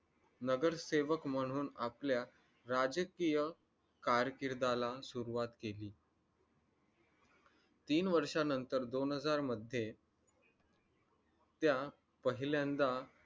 नगरसेवक म्हणून आपल्या राजकीय कार किर्दाला सुरुवात केली तीन वर्षानंतर दोन हजार मध्ये त्या पहिल्यांदा